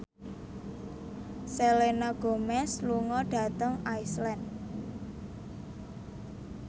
Selena Gomez lunga dhateng Iceland